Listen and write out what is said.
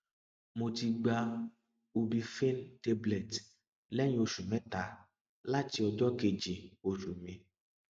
mo ti gba ubiphene tablet léyìn oṣù mẹta láti ọjọ kejì oṣù mi